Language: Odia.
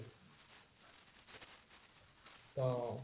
ତ